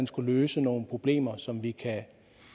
skulle løse nogle problemer som vi kan